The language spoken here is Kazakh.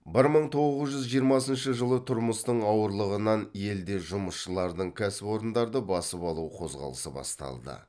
бір мың тоғыз жүз жиырмасыншы жылы тұрмыстың ауырлығынан елде жұмысшылардың кәсіпорындарды басып алу қозғалысы басталды